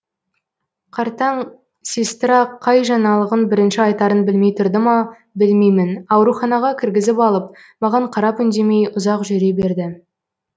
қартаң сестра қай жаңалығын бірінші айтарын білмей тұрды ма білмеймін ауруханаға кіргізіп алып маған қарап үндемей ұзақ жүре берді